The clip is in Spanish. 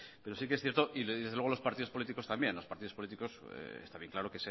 pero sí que es cierto y desde luego los partidos políticos también está bien claro